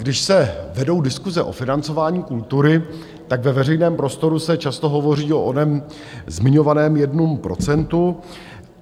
Když se vedou diskuse o financování kultury, tak ve veřejném prostoru se často hovoří o onom zmiňovaném jednom procentu.